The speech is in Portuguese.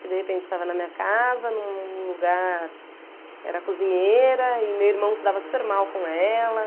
que de repente estava na minha casa, num lugar... Era cozinheira e meu irmão se dava super mal com ela.